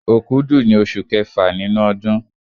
Òkúdù ni oṣù kẹfà nínú ọdún.